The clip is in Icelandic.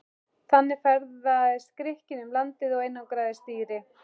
Þannig ferðaðist Grikkinn um landið og einangraði stýri.